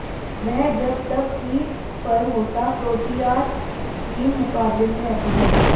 वह जब तक क्रीज पर होता प्रोटीयाज टीम मुकाबले में रहती है